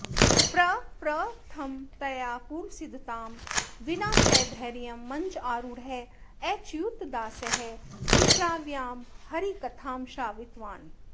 प्रप्रथमतया पूर्वसिद्धतां विना सधैर्यं मञ्चारूढः अच्युतदासः सुश्राव्यां हरिकथां श्रावितवान्